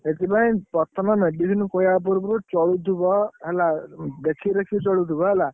ସେଥିପାଇଁ ପ୍ରଥମେ medicine ଖୁଏଇବା ପୂର୍ବରୁ ଚଳୁଥିବ ଦେଖି ରଖି ଚଳୁଥିବ ହେଲା।